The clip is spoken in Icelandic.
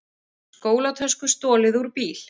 Skólatösku stolið úr bíl